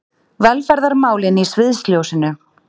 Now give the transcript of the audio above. Velferðarmálin í sviðsljósinu